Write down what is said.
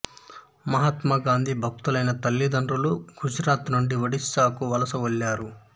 మహాత్మా గాంధీ భక్తులైన తల్లితండ్రులు గుజరాత్ నుండి ఒడిషాకు వలస వెళ్ళారు